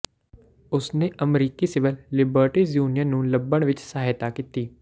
ਉਸਨੇ ਅਮਰੀਕੀ civil liberties union ਨੂੰ ਲੱਭਣ ਵਿੱਚ ਸਹਾਇਤਾ ਕੀਤੀ